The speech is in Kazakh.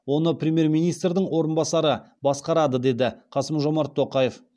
оны премьер министрдің орынбасары басқарады деді қасым жомарт тоқаев